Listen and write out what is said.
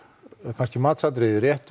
kannski matsatriði rétt